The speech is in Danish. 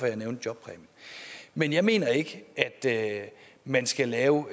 jeg nævnte jobpræmien men jeg mener ikke at man skal lave